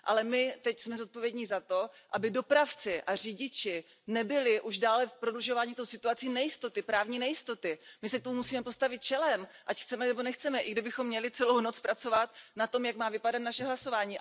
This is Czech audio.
Ale my teď jsme zodpovědní za to, aby dopravci a řidiči nebyli už dále prodlužováním té situací v právní nejistotě, my se k tomu musíme postavit čelem, ať chceme nebo nechceme, i kdybychom měli celou noc pracovat na tom, jak má vypadat naše hlasování.